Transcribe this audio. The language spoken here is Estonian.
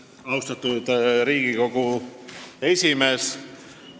Austatud Riigikogu esimees!